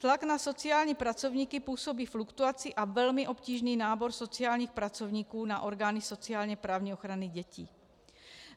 Tlak na sociální pracovníky působí fluktuaci a velmi obtížný nábor sociálních pracovníků na orgány sociálně-právní ochrany dětí.